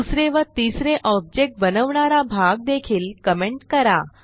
दुसरे व तिसरे ऑब्जेक्ट बनवणारा भाग देखील कमेंट करा